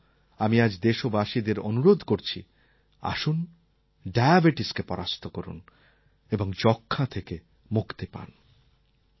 আর এই জন্য আমি আজ দেশবাসীদের অনুরোধ করছি আসুন ডায়াবেটিসকে পরাস্ত করুন এবং যক্ষ্মা থেকে মুক্তি পান